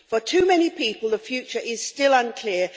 For too many people, the future is still unclear.